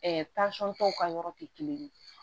tɔw ka yɔrɔ tɛ kelen ye